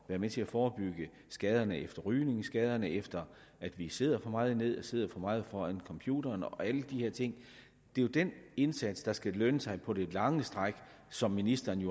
med til at forebygge skaderne efter rygning skaderne efter at vi sidder for meget ned og sidder for meget foran computeren og alle de her ting det er jo den indsats der skal lønne sig på det lange stræk som ministeren